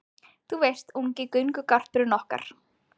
Þú veist, ungi göngugarpurinn okkar